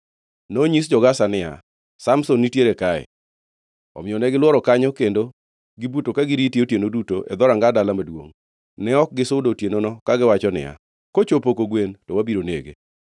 Nonyis jo-Gaza niya, “Samson nitiere kae!” Omiyo negilworo kanyo kendo gibuto ka girite otieno duto e dhoranga dala maduongʼ. Ne ok gisudo otienono, kagiwacho niya, “Kochopo kogwen to wabiro nege.”